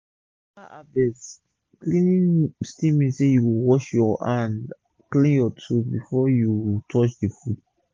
after harvest cleaning still mean say u go wash ur hand clean ur tools first before u touch d food